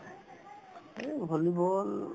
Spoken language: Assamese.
এহ্, volleyball